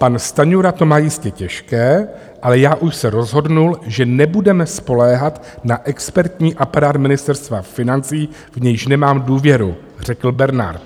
"Pan Stanjura to má jistě těžké, ale já už se rozhodnul, že nebudeme spoléhat na expertní aparát Ministerstva financí, v nějž nemám důvěru", řekl Bernard.